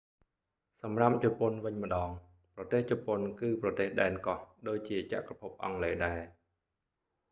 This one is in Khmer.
សម្រាប់ជប៉ុនវិញម្ដង ប្រទេសជប៉ុនគឺប្រទេសដែនកោះ ដូចជាចក្រភពអង់គ្លេសដែរ